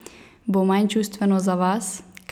Bo manj čustveno za vas?